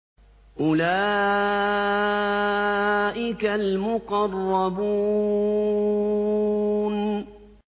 أُولَٰئِكَ الْمُقَرَّبُونَ